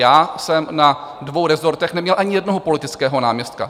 Já jsem na dvou rezortech neměl ani jednoho politického náměstka.